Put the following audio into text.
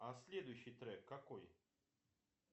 а следующий трек какой